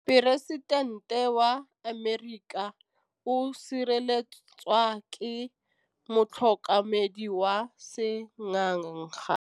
Poresitêntê wa Amerika o sireletswa ke motlhokomedi wa sengaga.